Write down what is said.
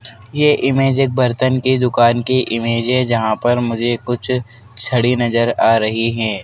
ये इमेज एक बर्तन के दुकान की इमेज है जहां पर मुझे कुछ छड़ी नजर आ रही है।